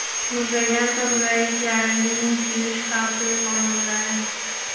muzlagan tozalagichlarning kuyish xavfi yuqori bo‘ladi.